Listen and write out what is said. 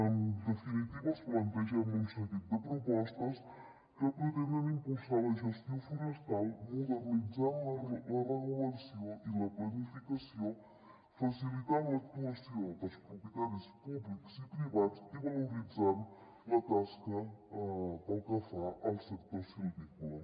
en definitiva els plantegem un seguit de propostes que pretenen impulsar la gestió forestal modernitzant la regulació i la planificació facilitant l’actuació dels propietaris públics i privats i valoritzant la tasca pel que fa al sector silvícola